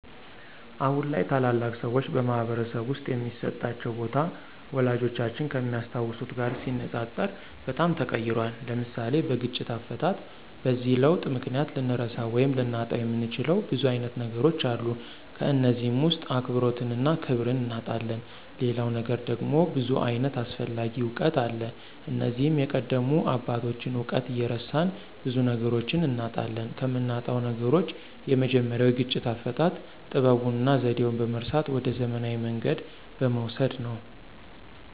አሁን ላይ ታላላቅ ሰዎች በማኅበረሰብ ውስጥ የሚሰጣቸው ቦታ፣ ወላጆቻችን ከሚያስታውሱት ጋር ሲነጻጸር በጣም ተቀይሯል። (ለምሳሌ፦ በግጭት አፈታት) በዚህ ለውጥ ምክንያት ልንረሳው ወይም ልናጣው የምንችለው ብዙ አይነት ነገሮች አሉ ከነዚህም ውስጥ አክብሮትንና ክብርን እናጣለን ሌላው ነገር ደግሞ ብዙ ዓይነት አስፈላጊ እውቀት አለ እነዚህም የቀደሙ አባቶችን እውቀት እየረሳን ብዙ ነገሮችን እናጣለን። ከምናጣው ነገሮች የመጀመሪያው የግጭት አፈታት ጥበቡንና ዘዴውን በመርሳት ወደ ዘመናዊ መንገድ በመውሰድ ነው።